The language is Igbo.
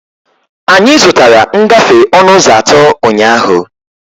Anyị zụtara ngafe ọnụ ụzọ atọ ụnyahụ.